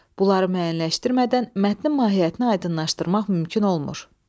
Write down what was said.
Bunları müəyyənləşdirmədən mətnin mahiyyətini aydınlaşdırmaq mümkün olmur.